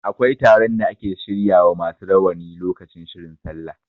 Akwai taron da ake shirya wa masu rawani lokaci shirin sallah.